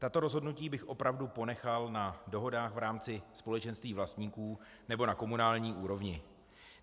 Tato rozhodnutí bych opravdu ponechal na dohodách v rámci společenství vlastníků nebo na komunální úrovni.